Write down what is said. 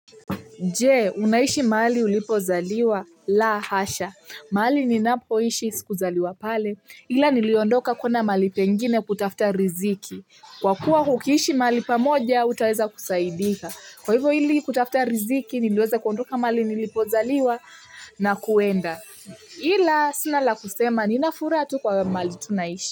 Je, unaishi mahali ulipozaliwa, la hasha. Mahali ninapoishi sikuzaliwa pale. Ila niliondoka kuenda mahali pengine kutafta riziki. Kwa kuwa ukiishi maali pamoja, utaweza kusaidika. Kwa hivyo ili kutafuta riziki, niliweza kuondoka mahali nilipozaliwa na kuenda. Ila sina la kusema, ninafuraha tu kwa mahali tunaishi.